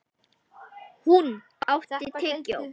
Húnn, áttu tyggjó?